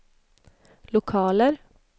lokaler